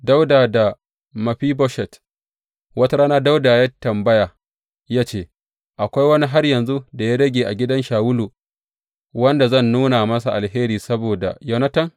Dawuda da Mefiboshet Wata rana Dawuda ya yi tambaya ya ce, Akwai wani har yanzu da ya rage a gidan Shawulu wanda zan nuna masa alheri saboda Yonatan?